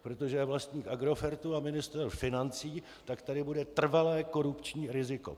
Protože je vlastník Agrofertu a ministr financí, tak tady bude trvalé korupční riziko.